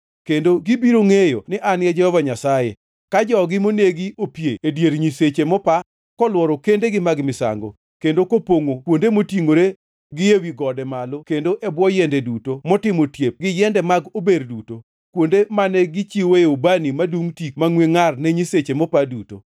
Kendo gibiro ngʼeyo ni An e Jehova Nyasaye, ka jogi monegi opie e dier nyisechegi mopa kolworo kendegi mag misango, kendo kopongʼo kuonde motingʼore gi ewi gode malo kendo e bwo yiende duto motimo otiep gi yiende mag ober duto, kuonde mane gichiwoe ubani madungʼ tik mangʼwe ngʼar ne nyisechegi mopa duto.